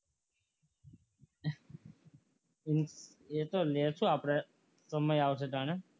એ તો લેશું આપણે સમય આવશે ત્યારે